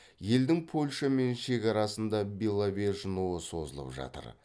елдің польшамен шекарасында беловеж нуы созылып жатыр